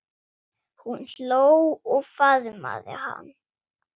Hún hló og faðmaði hann.